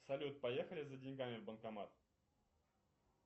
салют поехали за деньгами в банкомат